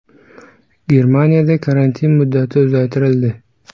Germaniyada karantin muddati uzaytirildi.